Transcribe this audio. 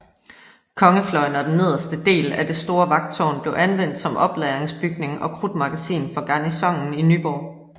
Kongefløjen og den nederste del at det store vagttårn blev anvendt som oplagringsbygning og krudtmagasin for garnisonen i Nyborg